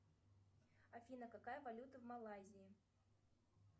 афина какая валюта в малайзии